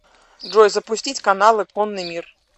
джой запустить каналы конный мир